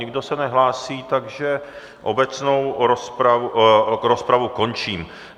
Nikdo se nehlásí, takže obecnou rozpravu končím.